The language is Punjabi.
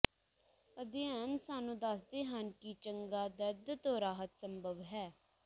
ਅਧਿਐਨ ਸਾਨੂੰ ਦੱਸਦੇ ਹਨ ਕਿ ਚੰਗਾ ਦਰਦ ਤੋਂ ਰਾਹਤ ਸੰਭਵ ਹੈ